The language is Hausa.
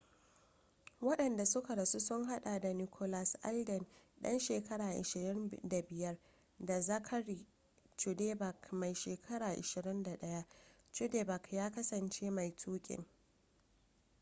wandanda suka rasu sun hada da nicholas alden dan shekara 25 da zachary cuddeback mai shekara 21 cuddeback ya kasance mai tukin